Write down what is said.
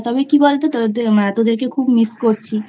তবে কী বল তো...তোদেরকে খুব Miss করছি।